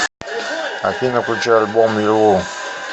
афина включи альбом юлу